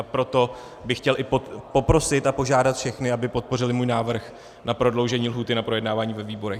A proto bych chtěl i poprosit a požádat všechny, aby podpořili můj návrh na prodloužení lhůty na projednávání ve výborech.